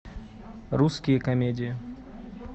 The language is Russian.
русские комедии